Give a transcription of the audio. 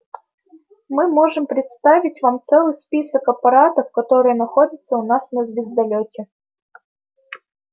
мы можем представить вам целый список аппаратов которые находятся у нас на звездолёте